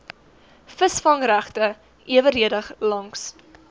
visvangregte eweredig langs